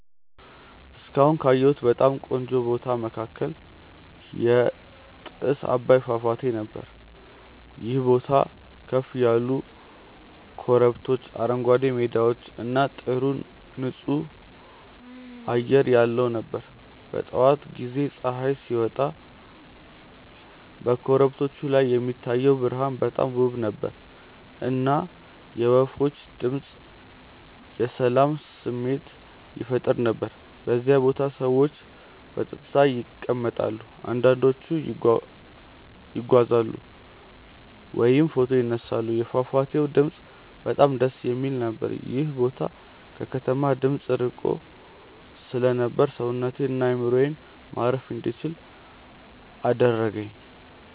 እስካሁን ካየሁት በጣም ቆንጆ ቦታ መካከል የጥስ አባይ ፏፏቴ ነበር። ይህ ቦታ ከፍ ያሉ ኮረብቶች፣ አረንጓዴ ሜዳዎች እና ጥሩ ንፁህ አየር ያለው ነበር። በጠዋት ጊዜ ፀሐይ ሲወጣ በኮረብቶቹ ላይ የሚታየው ብርሃን በጣም ውብ ነበር፣ እና የወፎች ድምፅ የሰላም ስሜት ይፈጥር ነበር። በዚያ ቦታ ሰዎች በጸጥታ ይቀመጣሉ፣ አንዳንዶቹ ይጓዛሉ ወይም ፎቶ ይነሳሉ። የፏፏቴው ድምፅ በጣም ደስ የሚል ነበር። ይህ ቦታ ከከተማ ድምፅ ርቆ ስለነበር ሰውነቴን እና አእምሮዬን ማረፍ እንዲችል አደረገኝ።